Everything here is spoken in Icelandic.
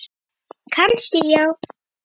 Kannski já.